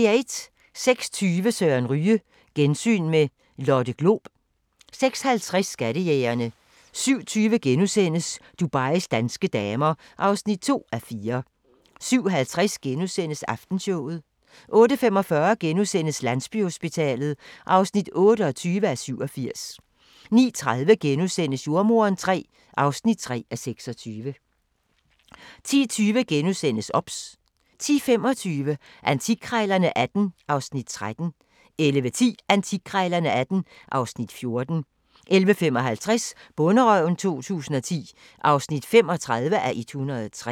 06:20: Søren Ryge: Gensyn med Lotte Glob 06:50: Skattejægerne 07:20: Dubais danske damer (2:4)* 07:50: Aftenshowet * 08:45: Landsbyhospitalet (28:87)* 09:30: Jordemoderen III (3:26)* 10:20: OBS * 10:25: Antikkrejlerne XVIII (Afs. 13) 11:10: Antikkrejlerne XVIII (Afs. 14) 11:55: Bonderøven 2010 (35:103)